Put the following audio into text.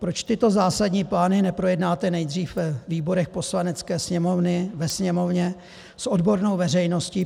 Proč tyto zásadní plány neprojednáte nejdřív ve výborech Poslanecké sněmovny, ve Sněmovně, s odbornou veřejností?